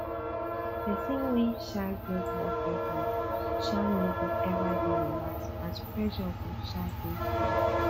pesin wey um get work deadline um no go ever dey relaxed as pressure go um dey high